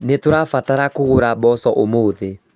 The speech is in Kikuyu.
Nĩtũrabatara kũgũra mboco ũmũthĩ